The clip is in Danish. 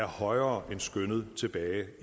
højere end skønnet tilbage